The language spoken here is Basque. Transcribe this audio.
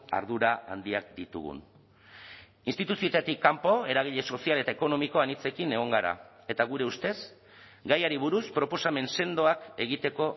ardura handiak ditugun instituzioetatik kanpo eragile sozial eta ekonomiko anitzekin egon gara eta gure ustez gaiari buruz proposamen sendoak egiteko